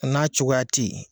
A n'a cogoya tɛ yen